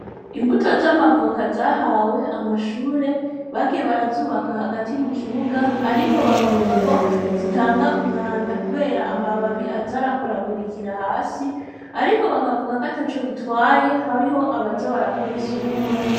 Imbuto z'amavoka zahawe amashure bagiye barazubaka hagati mu kibuga, ariko bakavuga ko zitanga umwanda, kubera amababi azarakoragurikira hasi, ariko bakavuga ko ata co bitwaye hariho abaza barakora isuku.